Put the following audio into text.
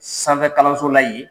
Sanfɛkalanso la yen.